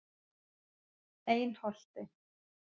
Einholti